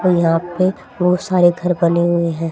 और यहां पे बहुत सारे घर बने हुए हैं।